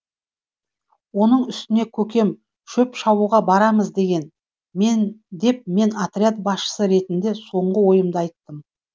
оның үстіне көкем шөп шабуға барамыз деген деп мен отряд басшысы ретінде соңғы ойымды айттым